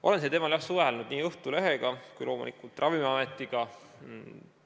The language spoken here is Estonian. Olen sellel teemal jah suhelnud nii Õhtulehega kui loomulikult ka Ravimiametiga.